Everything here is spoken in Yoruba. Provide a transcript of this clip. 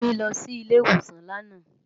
Kemi lò si ile iwósán làná